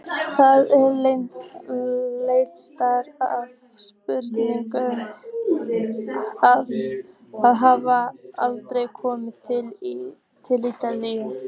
Það er leiðinlegt afspurnar að hafa aldrei komið til Ítalíu.